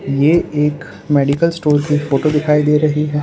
ये एक medical store की फोटो दिखाई दे रही है।